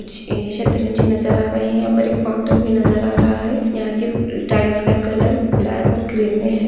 ए कुच्छ शतरंजी नज़र आ रही यहा पर एक काउंटर भी नज़र आ रहा है यहा के टाइल्स का कलर ब्लॅक और ग्रीन मे है।